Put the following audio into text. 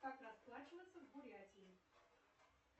как расплачиваться в бурятии